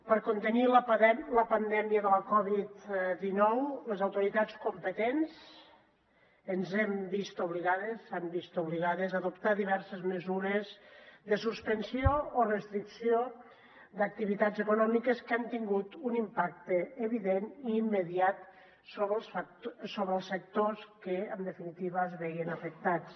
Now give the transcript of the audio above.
per contenir la pandèmia de la covid dinou les autoritats competents ens hem vist obligades s’han vist obligades a adoptar diverses mesures de suspensió o restricció d’activitats econòmiques que han tingut un impacte evident i immediat sobre els sectors que en definitiva es veien afectats